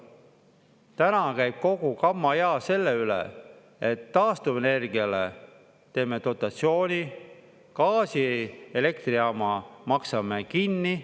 Täna käib kogu kammaijaa selle üle, et taastuvenergiale teeme dotatsiooni, gaasielektrijaama maksame kinni.